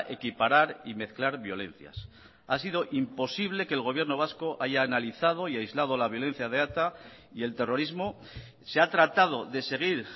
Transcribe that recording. equiparar y mezclar violencias ha sido imposible que el gobierno vasco haya analizado y aislado la violencia de eta y el terrorismo se ha tratado de seguir